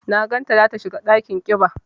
Na gan ta za ta shiga ɗakin ƙiba.